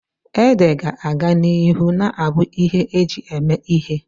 Ede ga-aga n'ihu na-abụ ihe eji eme ihe.